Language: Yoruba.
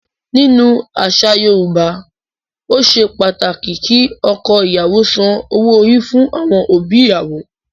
Nínú àṣà Yorùbá, ó ṣe pàtàkì kí ọkọ-ìyàwó san owó-orí fún àwọn òbí ìyàwó.